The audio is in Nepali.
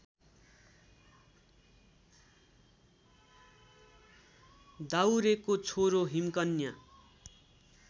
दाउरेको छोरो हिमकन्या